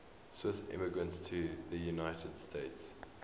swiss immigrants to the united states